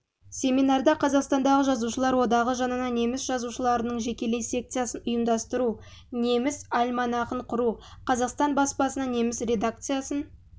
семинарда қазақстандағы жазушылар одағы жанынан неміс жазушыларының жекелей секциясын ұйымдастыру неміс альманахын құру қазақстан баспасынан неміс редакциясын